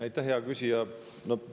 Aitäh, hea küsija!